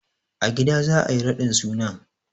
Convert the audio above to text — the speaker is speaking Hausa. A gida za a yi raɗin sunan.